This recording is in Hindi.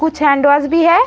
कुछ हैंडवाश भी है।